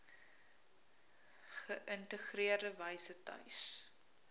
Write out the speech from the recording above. geïntegreerde wyse tuis